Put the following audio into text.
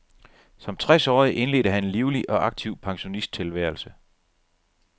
Som tres årig indledte han en livlig og aktiv pensionisttilværelse.